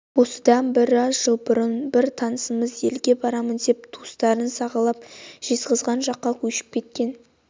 осыдан бір аз жыл бұрын бір танысымыз елге барамын деп туыстарын сағалап жезқазған жаққа көшіп кеткен